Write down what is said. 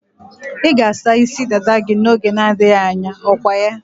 Ị ga-asa isi dada gị n'oge na-adịghị anya, okwaya?